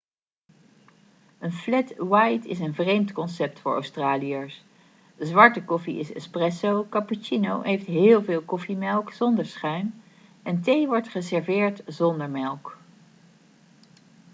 een 'flat white' is een vreemd concept voor australiërs. zwarte koffie is 'espresso' cappuccino heeft heel veel koffiemelk zonder schuim en thee wordt geserveerd zonder melk